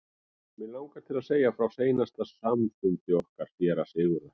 Mig langar til að segja frá seinasta samfundi okkar séra Sigurðar.